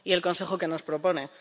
¿Y el Consejo, qué nos propone?